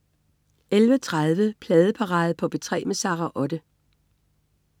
11.30 Pladeparade på P3 med Sara Otte